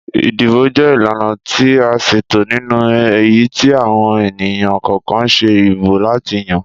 Ìdìbò jẹ ìlànà ti a ṣètò nínú èyítí àwọn ènìyàn kọ̀ọkan ṣe ìbò láti yan